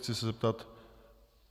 Chci se zeptat...